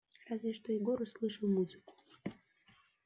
разве что егор услышал музыку